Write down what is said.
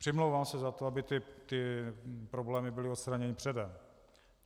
Přimlouvám se za to, aby ty problémy byly odstraněny předem.